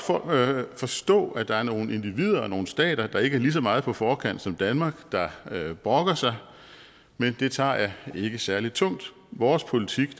forstå at der er nogle individer og nogle stater der ikke er lige så meget på forkant som danmark der brokker sig men det tager jeg ikke særlig tungt vores politik